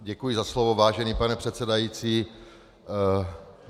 Děkuji za slovo, vážený pane předsedající.